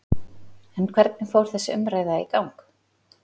En hvernig fór þessi umræða í gang?